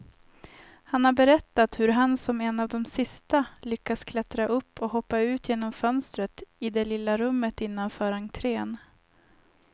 Han har berättat hur han som en av de sista lyckas klättra upp och hoppa ut genom fönstret i det lilla rummet innanför entrén.